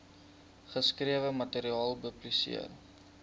geskrewe materiaal publiseer